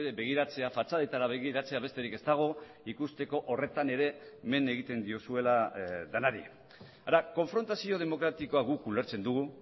begiratzea fatxadetara begiratzea besterik ez dago ikusteko horretan ere men egiten diozuela denari hara konfrontazio demokratikoa guk ulertzen dugu